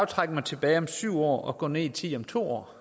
trække mig tilbage om syv år og gå ned i tid om to år